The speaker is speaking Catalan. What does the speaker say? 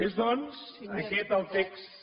és doncs aquest el text